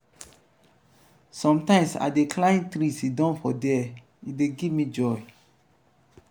sometimes i dey climb tree siddon for there e dey give me joy.